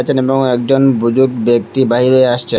আছেন এবং একজন বুজুর্গ ব্যক্তি বাইর হয়ে আসছে।